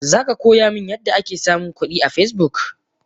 Zaka koya min yadda ake samun kudi a Facebook?